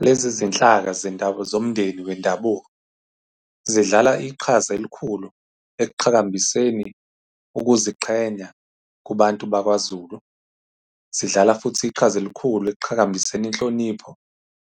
Lezi zinhlaka zomndeni wendabuko zidlala iqhaza elikhulu ekuqhakambiseni ukuziqhenya kubantu bakwaZulu. Zidlala futhi iqhaza elikhulu ekuqhakambiseni inhlonipho